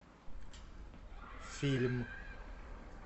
фильм